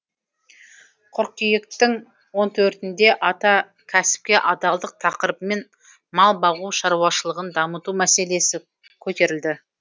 қыркүйектің он төртінде ата кәсіпке адалдық тақырыбымен мал бағу шаруашылығын дамыту мәселесі көтерілді